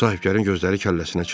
Sahibkarın gözləri kəlləsinə çıxdı.